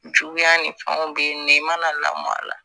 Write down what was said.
Juguya ni fɛnw bɛ yen nɔ i mana lamɔ a la